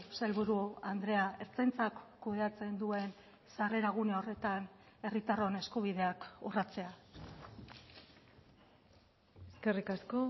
sailburu andrea ertzaintzak kudeatzen duen sarrera gune horretan herritarron eskubideak urratzea eskerrik asko